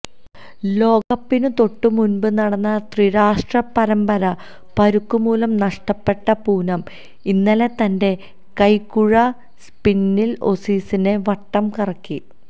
ലോകകപ്പിനു തൊട്ടുമുൻപു നടന്ന ത്രിരാഷ്ട്ര പരമ്പര പരുക്കുമൂലം നഷ്ടപ്പെട്ട പൂനം ഇന്നലെ തന്റെ കൈക്കുഴ സ്പിന്നിൽ ഓസീസിനെ വട്ടംകറക്കി